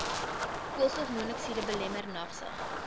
koolstofmonokside belemmer nagsig